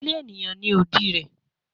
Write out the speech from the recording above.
Ile eniyan ni odi rẹ